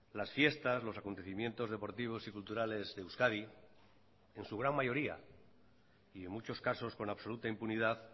las fiestas los acontecimientos deportivos y culturales de euskadi en su gran mayoría y en muchos casos con absoluta impunidad